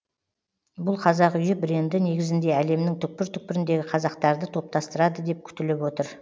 бұл қазақ үйі бренді негізінде әлемнің түкпір түкпіріндегі қазақтарды топтастырады деп күтіліп отыр